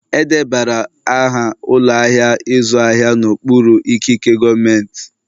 Edebara aha ụlọ ahịa ịzụ ahịa n'okpuru ikike gọọmentị